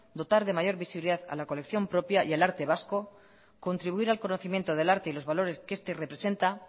dotar de mayor visibilidad a la colección propia y al arte vasco contribuir al conocimiento del arte y los valores que este representa